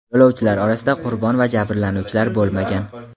Yo‘lovchilar orasida qurbon va jabrlanuvchilar bo‘lmagan.